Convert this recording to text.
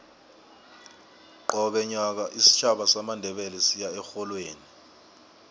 qobe nyaka isitjhaba samandebele siya erholweni